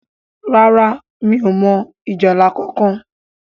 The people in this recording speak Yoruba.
ràrá mí ọ mọ ìjálá kánkan.